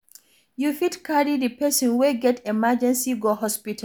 You fit carry di person wey get emergency go hospital